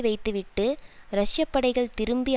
வைத்துவிட்டு ரஷ்யப்படைகள் திரும்பி